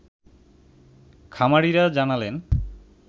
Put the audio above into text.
খামারিরা জানালেন